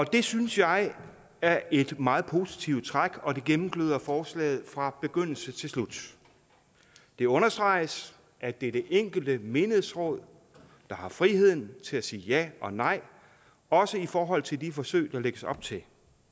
det synes jeg er et meget positivt træk og det gennemgløder forslaget fra begyndelse til slut det understreges at det er det enkelte menighedsråd der har friheden til at sige ja og nej også i forhold til de forsøg der lægges op til